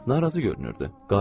Narahat görünürdü.